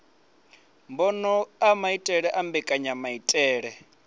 mbono a maitele na mbekanyamaitele